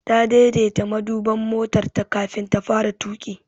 Ta daidaita maduban motarta kafin ta fara tuƙi.